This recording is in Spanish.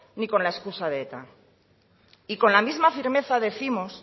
ni con la excusa de eta y con la misma firmeza décimos